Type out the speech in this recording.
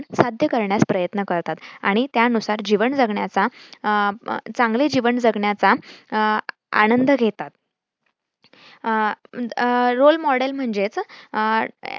साध्य करण्यास प्रयत्न करतात आणि त्यानुसार जीवन जगण्याचा अह चांगले जीवन जगण्याचा अं आनंद घेतात. अह अं role model म्हणजेच अह